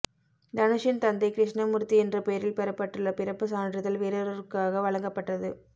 தனுஷின் தந்தை கிருஷ்ணமூர்த்தி என்ற பெயரில் பெறப்பட்டுள்ள பிறப்பு சான்றிதழ் வேறொருவருக்காக வழங்கப்பட்டது